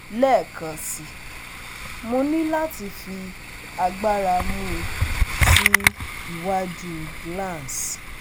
lẹẹkansi Mo ni lati fi agbara mu si iwaju cs] glans